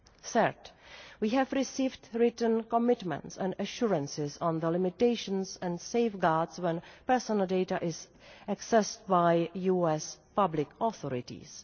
Third, we have received written commitments and assurances on the limitations and safeguards when personal data are accessed by US public authorities.